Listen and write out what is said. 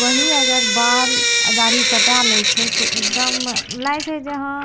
वही अगर बाल और दाढ़ी कटा लेइ छै त एकदम लागे छै की हां --